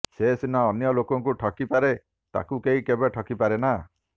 ସେ ସିନା ଅନ୍ୟଲୋକକୁ ଠକିପାରେ ତାକୁ କେହି କେବେ ଠକିପାରେନା